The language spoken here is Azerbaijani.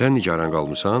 Sən nigaran qalmısan?